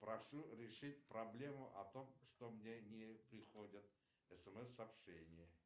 прошу решить проблему о том что мне не приходят смс сообщения